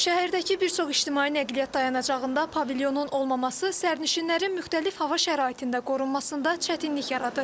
Şəhərdəki bir çox ictimai nəqliyyat dayanacağında pavilyonun olmaması sərnişinlərin müxtəlif hava şəraitində qorunmasında çətinlik yaradır.